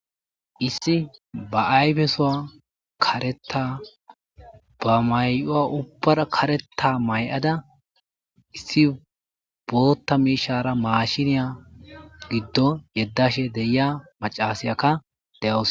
issi ba ayfesowa kareta ba may7owa ubbar kareta may7ada issi bolotta miishara maashiniya giddo yeddashe deia macasiyaka de7oos